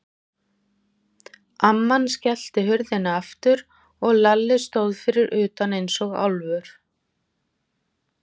Amman skellti hurðinni aftur og Lalli stóð fyrir utan eins og álfur.